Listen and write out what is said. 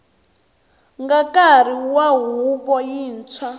nga nkarhi wa huvo yintshwa